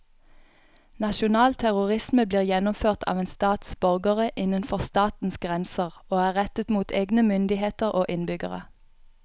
Nasjonal terrorisme blir gjennomført av en stats borgere innenfor statens grenser og er rettet mot egne myndigheter og innbyggere.